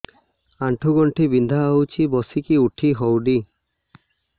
ଆଣ୍ଠୁ ଗଣ୍ଠି ବିନ୍ଧା ହଉଚି ବସିକି ଉଠି ହଉନି